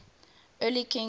earthly king ruling